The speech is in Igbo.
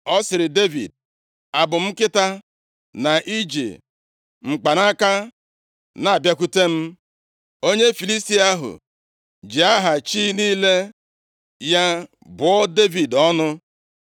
Ọ sịrị Devid, “Abụ m nkịta, na i ji mkpanaka na-abịakwute m?” Onye Filistia ahụ ji aha chi niile ya bụọ Devid ọnụ.